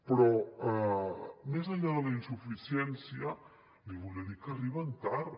però més enllà de la insuficiència li volia dir que arriben tard